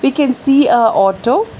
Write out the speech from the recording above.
We can see a auto.